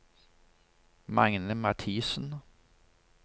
Magne Mathisen